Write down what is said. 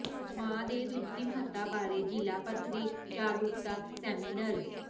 ਮਾਂ ਦੇ ਦੁੱਧ ਦੀ ਮਹੱਤਤਾ ਬਾਰੇ ਜਿਲਾ ਪੱਧਰੀ ਜਾਗਰੂਕਤਾ ਸੈਮੀਨਰ